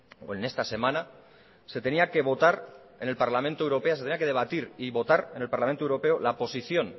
o en esta semana se tenía que votar en el parlamento europeo se tenía que debatir y votar en el parlamento europeo la posición